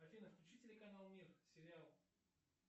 афина включи телеканал мир сериал